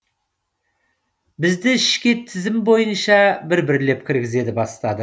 бізді ішке тізім бой ынша бір бірлеп кіргізе бастады